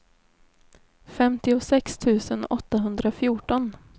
femtiosex tusen åttahundrafjorton